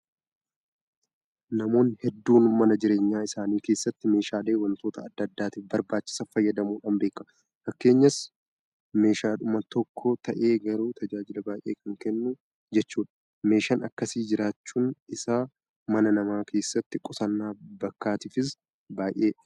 Namoonni hedduun mana jireenyaa isaanii keessatti meeshaalee waantota adda addaatiif barbaachisan fayyadamuudhaan beekamu. Fakkeenyaaf meeshaadhuma tokko ta'ee garuu tajaajila baay'ee kan kennu jechuudha. Meeshaan akkasii jiraachuun isaa mana namaa keesatti qusannaa bakkaatiifis baay'ee filatamaadha.